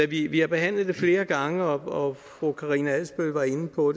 vi vi har behandlet det flere gange og fru karina adsbøl var inde på